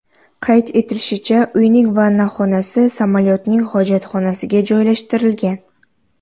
Qayd etilishicha, uyning vannaxonasi samolyotning hojatxonasiga joylashtirilgan.